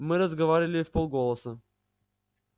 мы разговаривали вполголоса